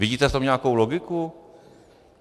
Vidíte v tom nějakou logiku?